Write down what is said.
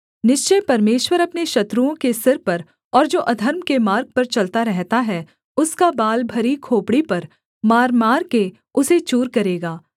निश्चय परमेश्वर अपने शत्रुओं के सिर पर और जो अधर्म के मार्ग पर चलता रहता है उसका बाल भरी खोपड़ी पर मारमार के उसे चूर करेगा